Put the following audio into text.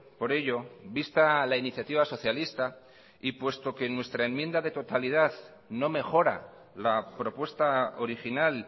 por ello vista la iniciativa socialista y puesto que nuestra enmienda de totalidad no mejora la propuesta original